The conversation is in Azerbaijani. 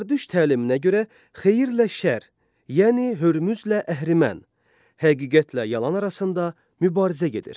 Zərdüşt təliminə görə xeyirlə şər, yəni Hörmüzlə Əhrimən, həqiqətlə yalan arasında mübarizə gedir.